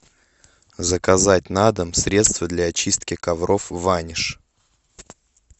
заказать на дом средство для очистки ковров ваниш